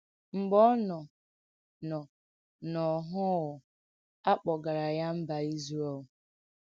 M̀gbè ọ nò nò n’óhụ̀ụ́, à kpọ̀gàrà yà Mbà Ízrèl.